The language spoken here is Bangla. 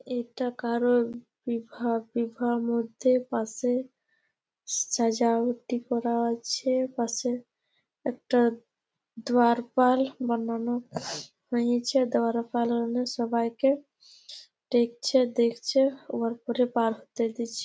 এটা কারো বিভা বিভার মধ্যে পাশে সাজাওটি করা আছে। পাশে একটা দুয়ারপাল বানানো হয়েছে। দুয়ারপাল এ সবাইকে দেখছে দেখছে। উয়ার পরে --